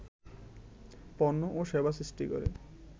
পণ্য ও সেবা সৃষ্টি করে